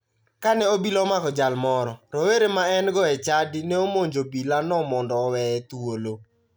Kane obila omako jal moro, rowere ma engo e chadi ne omonjo obilano mondo oweye thuolo